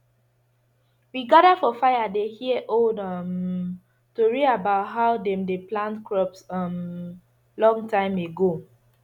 we gather for fire dey hear old um tori about how dem dey plant crops um long time ago